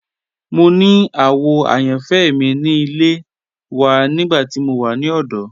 Mo ni àwò àyànfẹ́ mi ni ilẹ̀ wà nígbà tí mo wà ni ọdọ.